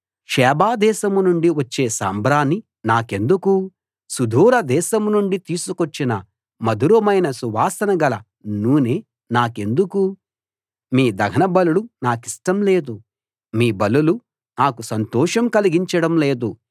Sheba దేశం నుండి వచ్చే సాంబ్రాణి నాకెందుకు సుదూర దేశం నుండి తీసుకొచ్చిన మధురమైన సువాసన గల నూనె నాకెందుకు మీ దహనబలులు నాకిష్టం లేదు మీ బలులు నాకు సంతోషం కలిగించడం లేదు